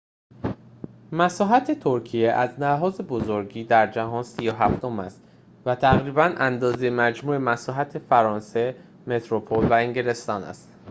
مساحت ترکیه از لحاظ بزرگی در جهان ۳۷ ام است و تقریباً اندازه مجموع مساحت فرانسه متروپل و انگلستان است